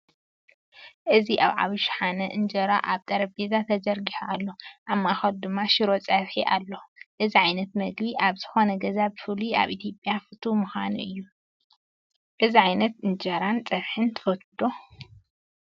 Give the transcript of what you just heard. እዚ ኣብ ዓበይ ሸሓነ እንጀራ ኣብ ጠረጴዛ ተዘርጊሑ ኣሎ፣ ኣብ ማእከሉ ድማ ሽሮ ፀብሒ ኣሎ። እዚ ዓይነት ምግቢ ኣብ ዝኾነ ገዛ ብፍላይ ኣብ ኢትዮጵያ ፍቱው ምግቢ እዩ። እዚ ዓይነት ኢንጀራን ጸብሒን ትፈትዉ ዶ?